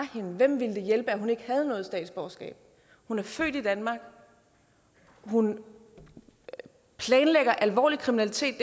hende hvem ville det hjælpe at hun ikke havde noget statsborgerskab hun er født i danmark hun planlægger alvorlig kriminalitet